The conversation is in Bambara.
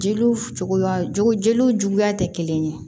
Jeliw cogoya jo jeliw cogoya tɛ kelen ye